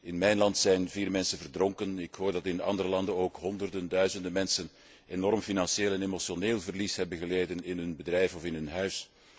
In mijn land zijn vier mensen verdronken, en ik hoor dat in andere landen ook honderden, duizenden mensen enorm financieel en emotioneel verlies hebben geleden in hun bedrijf en in hun huis.